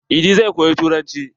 Idi zai koyi turanci.